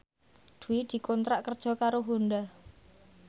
Dwi dikontrak kerja karo Honda